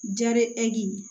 Jaregi